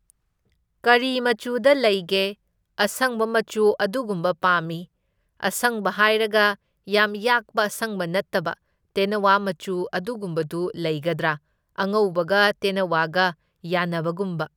ꯀꯔꯤ ꯃꯆꯨꯗ ꯂꯩꯒꯦ? ꯑꯁꯪꯕ ꯃꯆꯨ ꯑꯗꯨꯒꯨꯝꯕ ꯄꯥꯝꯃꯤ, ꯑꯁꯪꯕ ꯍꯥꯏꯔꯒ ꯌꯥꯝ ꯌꯥꯛꯄ ꯑꯁꯪꯕ ꯅꯠꯇꯕ ꯇꯦꯟꯅꯋꯥ ꯃꯆꯨ ꯑꯗꯨꯒꯨꯝꯕꯗꯨ ꯂꯩꯒꯗ꯭ꯔꯥ? ꯑꯉꯧꯕꯒ ꯇꯦꯟꯅꯋꯥꯒ ꯌꯥꯟꯅꯕꯒꯨꯝꯕ꯫